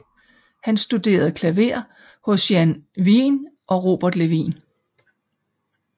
Han studerede klaver hos Jan Wijn og Robert Levin